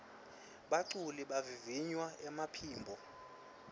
baculi bavivinya emaphimbo